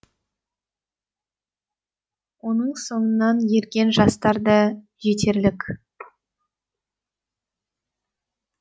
оның соңынан ерген жастар да жетерлік